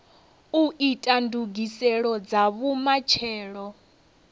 u ita ndugiselo dza vhumatshelo